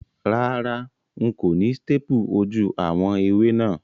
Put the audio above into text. Rárá, n kò ni staple ojú àwon ẹwé náà